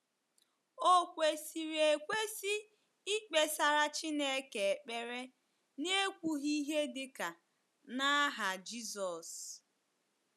Ò kwesịrị ekwesị ikpesara Chineke ekpere n’ekwughị ihe dị ka “ n’aha Jizọs ”?